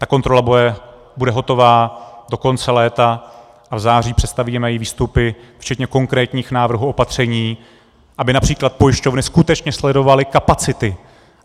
Ta kontrola bude hotová do konce léta a v září představíme její výstupy včetně konkrétních návrhů opatření, aby například pojišťovny skutečně sledovaly kapacity.